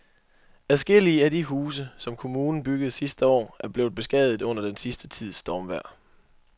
Adskillige af de huse, som kommunen byggede sidste år, er blevet beskadiget under den sidste tids stormvejr.